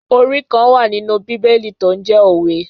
Orí kan wà nínú bíbélì tó ń jẹ́ Òwe.